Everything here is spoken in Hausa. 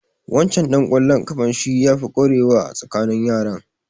Waccan ɗan ƙwallon ƙafan shi ya fi ƙwarewa a tsakanin yaran.